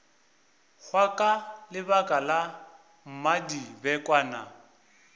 hwa ka lebaka la mmadibekwane